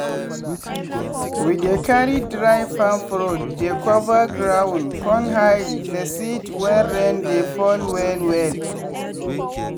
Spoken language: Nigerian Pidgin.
we dey carry dry palm fruit dey cover ground con hide the seeds when rain dey fall well well.